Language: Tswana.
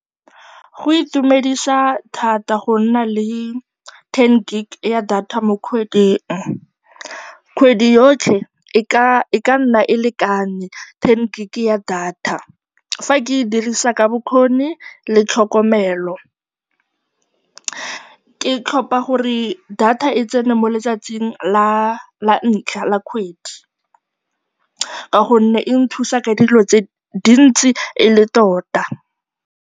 Go itumedisa thata go nna le ten gig ya data mo kgweding. Kgwedi yotlhe e ka nna e lekane ten gig ya data, fa ke e dirisa ka bokgoni le tlhokomelo. Ke tlhopha gore data e tsene mo letsatsing la ntlha la kgwedi ka gonne e nthusa ka dilo tse dintsi e le tota.